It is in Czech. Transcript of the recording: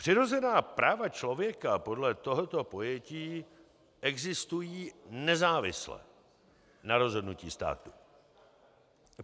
Přirozená práva člověka podle tohoto pojetí existují nezávisle na rozhodnutí státu.